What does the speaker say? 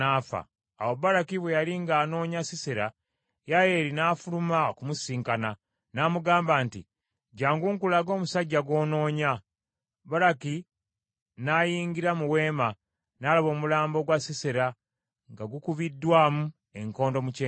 Awo Baraki bwe yali nga anoonya Sisera, Yayeeri n’afuluma okumusisinkana, n’amugamba nti, “Jjangu nkulage omusajja gw’onoonya. Baraki n’ayingira mu weema n’alaba omulambo ggwa Sisera nga gukubiddwamu enkondo mu kyenyi.”